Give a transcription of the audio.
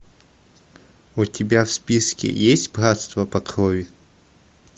у тебя в списке есть братство по крови